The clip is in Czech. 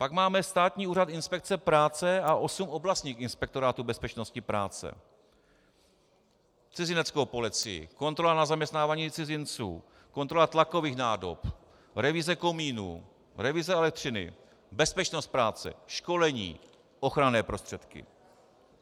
Pak máme Státní úřad inspekce práce a osm oblastních inspektorátů bezpečnosti práce, Cizineckou policii, kontrola na zaměstnávání cizinců, kontrola tlakových nádob, revize komínů, revize elektřiny, bezpečnost práce, školení, ochranné prostředky.